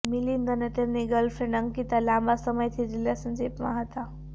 મિલિંદ અને તેમની ગર્લફ્રેન્ડ અંકિતા લાંબા સમયથી રિલેશનશિપમાં હતા